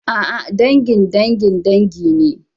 A'a, dangin dangin dangi ne.